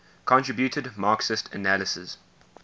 contributed marxist analyses